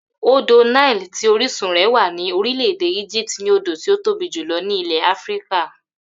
Odò Nile tí orísun rè̩ wà ní orílè̩-èdè Egypt ni odò tí ó tóbi jùlo̩ ní ilè̩ Áfíríkà